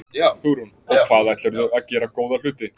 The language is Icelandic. Hugrún: Og ætlarðu að gera góða hluti?